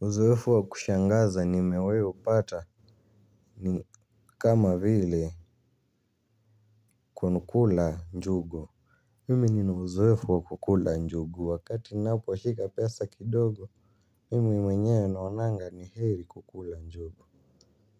Uzoefu wa kushangaza nimewaiupata ni kama vile kukula njugu. Mimi nina uzoefu wa kukula njugu wakati ninaposhika pesa kidogo. Mimi mwenyewe naonanga ni heri kukula njugu.